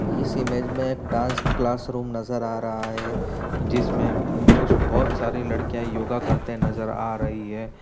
इस इमेज में dance class room नजर आ रहा है। जिसमे कुछ बहुत सारी लड़कियां योगा करते नजर आ रही है।